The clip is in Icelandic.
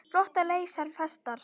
Flotar leysa festar.